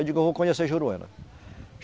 Eu digo, eu vou conhecer Juruena.